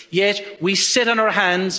Yet we sit on our hands.